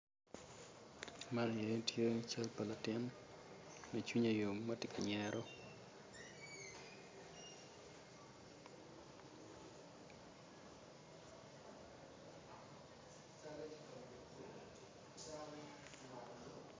Man aye tye cal pa latino ma cwinye yom ma ti ka nyero